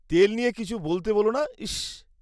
-তেল নিয়ে কিছু বলতে বোলো না, ইসস।